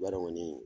Bari kɔni